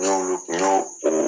N'olu tun y'o o